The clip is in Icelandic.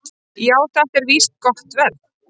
"""Já, þetta var víst gott verð."""